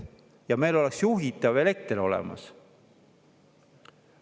Ja meil oleks juhitav elekter olemas.